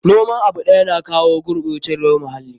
Noman abu ɗaya na jawo gurɓacewar muhalli.